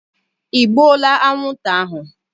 Ị gbuola anwụnta ahụ?